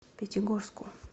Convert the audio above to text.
пятигорску